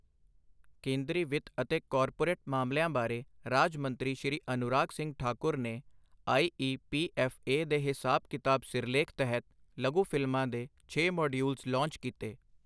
ਕੇਂਦਰੀ ਵਿੱਤ ਅਤੇ ਕਾਰਪੋਰੇਟ ਮਾਮਲਿਆਂ ਬਾਰੇ ਰਾਜ ਮੰਤਰੀ ਸ਼੍ਰੀ ਅਨੁਰਾਗ ਸਿੰਘ ਠਾਕੁਰ ਨੇ I E P F A ਦੇ ਹਿਸਾਬ ਕਿਤਾਬ ਸਿਰਲੇਖ ਤਹਿਤ ਲਘੂ ਫ਼ਿਲਮਾਂ ਦੇ ਛੇ ਮੋਡਯੂਲਸ ਲਾਂਚ ਕੀਤੇ